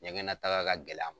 Ɲɛgɛnnataga ka gɛlɛ a ma.